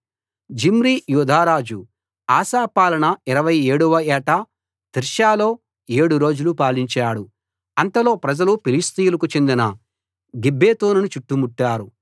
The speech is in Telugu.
జిమ్రీ యూదారాజు ఆసా పాలన 27 వ ఏట తిర్సాలో 7 రోజులు పాలించాడు అంతలో ప్రజలు ఫిలిష్తీయులకు చెందిన గిబ్బెతోనును చుట్టుముట్టారు